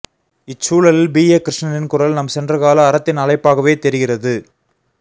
இச்சூழலில் P A கிருஷ்ணனின் குரல் நம் சென்றகால அறத்தின் அழைப்பாகவே தெரிகிறது